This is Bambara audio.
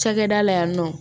Cakɛda la yan nɔ